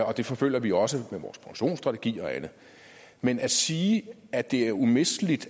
og det forfølger vi også med vores produktionsstrategi og andet men at sige at det er umisteligt